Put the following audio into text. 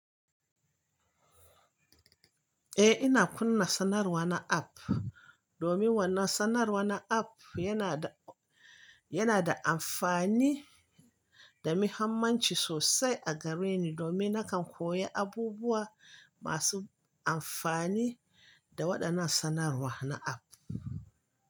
Eh ina kunna sanarwa na app domin wannan sanarwar na app yana da, yana da amfani da muhimmanci sosai a gareni domin nakan koya abubuwa masu amfani da waɗannan sanarwa na app.